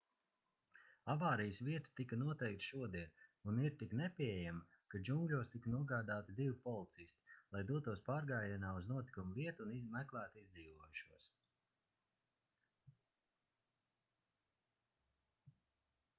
avārijas vieta tika noteikta šodien un ir tik nepieejama ka džungļos tika nogādāti divi policisti lai dotos pārgājienā uz notikuma vietu un meklētu izdzīvojušos